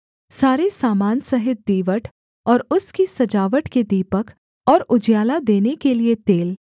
सारे सामान सहित दीवट और उसकी सजावट के दीपक और उजियाला देने के लिये तेल